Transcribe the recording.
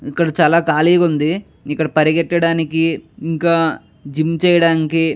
ఇక్కడ చాలా ఖాళీగుంది. ఇక్కడ పరిగెత్తడానికి ఇంకా జిమ్ చేయడానికి --